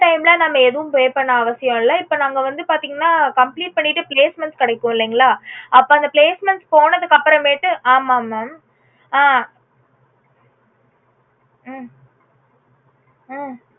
அந்த time ல நம்ப ஏதும் pay பண்ண அவசியமில்லை இப்போ நம்ப வந்து பாத்தீங்கன்னா complete பண்ணிட்டு placements கிடைக்கும் இல்லைங்களா அப்போ அந்த placements போனதுக்கு அப்புறமேட்டு ஆமா mam அஹ் உம் உம்